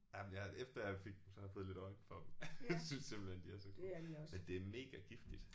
Jamen jeg efter jeg fik dem så har jeg fået lidt øje for dem. Jeg synes simpelthen de er så gode men det er mega giftigt